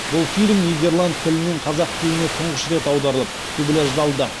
бұл фильм нидерланд тілінен қазақ тіліне тұңғыш рет аударылып дубляждалды